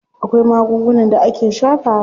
Akwai magungunan da ake shafawa.